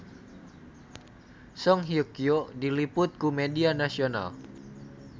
Song Hye Kyo diliput ku media nasional